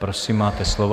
Prosím, máte slovo.